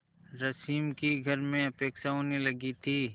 रश्मि की घर में उपेक्षा होने लगी थी